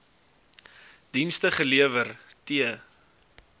dienste gelewer t